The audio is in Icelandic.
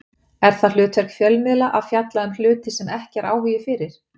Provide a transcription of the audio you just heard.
Er það hlutverk fjölmiðla að fjalla um hluti sem ekki er áhugi fyrir?